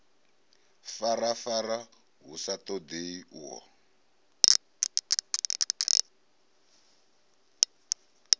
farafara hu sa ṱoḓei uho